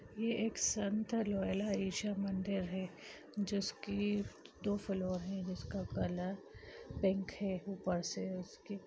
यह एक ईशा मन्दिरा है जिसकी दो फ्लोर है जिसका कलर पींक है ऊपर से उसके--